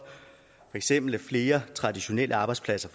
eksempel forsvinder flere traditionelle arbejdspladser